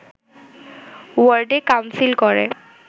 ওয়ার্ডে কাউন্সিল করে